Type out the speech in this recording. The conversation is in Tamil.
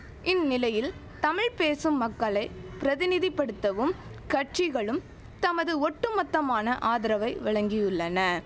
இந்நிலையில் தமிழ் பேசும் மக்களை பிரதிநிதி படுத்தவும் கட்சிகளும் தமது ஒட்டுமொத்தமான ஆதரவை வழங்கியுள்ளன